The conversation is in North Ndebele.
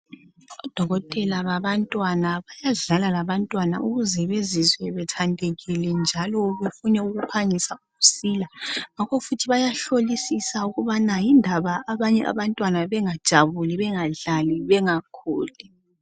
Odokotela babantwana bayadlala labantwana ukuze bazizwe bethandekile njalo bephangise ukusila ngakho futhi bayahlolisisa ukuba yindaba abanye abantwana bengajabulu bengadlali bengakhuli